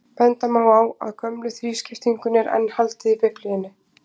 Benda má á að gömlu þrískiptingunni er enn haldið í Biblíunni.